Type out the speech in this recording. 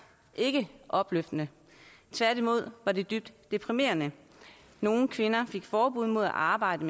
ikke opløftende tværtimod var det dybt deprimerende nogle kvinder fik forbud mod at arbejde